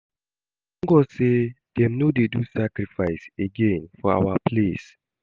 Thank God say dem no dey do sacrifice again for our place